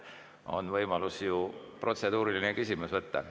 On võimalus ju protseduuriline küsimus võtta.